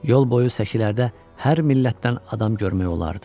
Yol boyu səkilərdə hər millətdən adam görmək olardı.